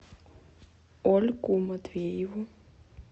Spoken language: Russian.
ольгу матвееву